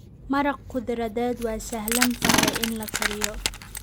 Maraq khudradeed waa sahlan tahay in la kariyo.